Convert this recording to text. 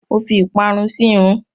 Mo fi ìparun sírun.